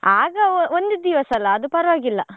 ಆಗ ಒಂದು ದಿವಸ ಅಲ್ಲಾ ಅದು ಪರ್ವಾಗಿಲ್ಲ.